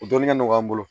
U dɔnni ka nɔgɔ an bolo